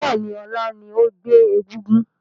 Bẹ́ẹ̀ni, ọlá ni ó gbé egúngún